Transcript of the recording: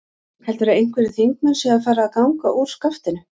Heldurðu að einhverjir þingmenn séu að fara að ganga úr skaftinu?